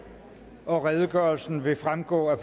og redegørelsen vil fremgå af